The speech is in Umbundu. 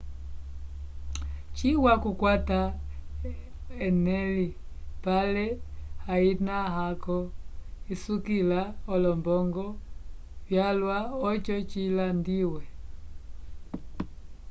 ciwa okukwata eneli pale hayina-ko isukila olombongo vyalwa oco cilandiwe